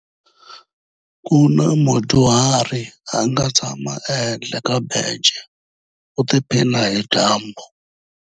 Ku na mudyuhari a nga tshama ehenhla ka bence u tiphina hi dyambu.